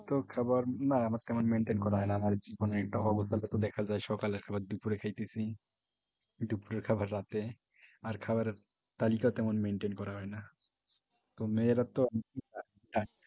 তো খাবার না আমার তেমন maintain করা হয়না হয়ত দেখা যায় সকালের খাবার দুপুরে খাইতেছি দুপুরের খাবার রাতে আর খাবারের তালিকা তেমন maintain করা হয়না